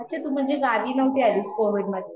अच्छा तू म्हणजे गावी नव्हती आलिस का कोविड मध्ये